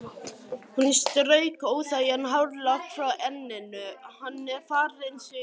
Hún strauk óþægan hárlokk frá enninu: Hann er farinn suður